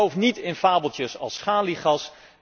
En geloof niet in fabeltjes als schaliegas.